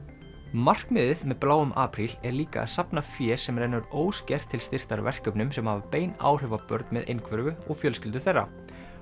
markmiðið með bláum apríl er líka að safna fé sem rennur óskert til styrktar verkefnum sem hafa bein áhrif á börn með einhverfu og fjölskyldur þeirra